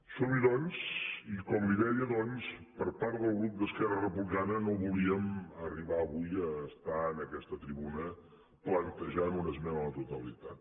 som hi doncs i com li deia per part del grup d’esquerra republicana no volíem arribar avui a estar en aquesta tribuna plantejant una esmena a la totalitat